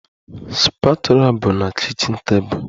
The spatula bụ na kichin table